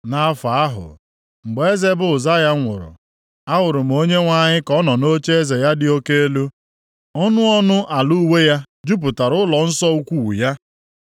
Nʼafọ ahụ, mgbe eze bụ Ụzaya nwụrụ, ahụrụ m Onyenwe anyị ka ọ nọ nʼocheeze ya dị oke elu. Ọnụ ọnụ ala uwe ya jupụtara ụlọnsọ ukwuu ya.